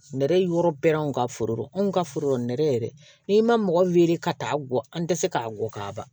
Nɛrɛ ye yɔrɔ bɛɛ ka foro anw ka foro dɔ nɛrɛ n'i ma mɔgɔ weele ka taa gɔ an tɛ se k'a gɔ kaban